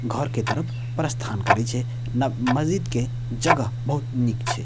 घर के तरफ प्रस्थान करे छै न मस्जिद के जगह बहुत नीक छै।